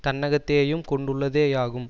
தன்னகத்தேயும் கொண்டுள்ளதேயாகும்